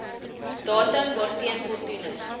datum waarteen voldoening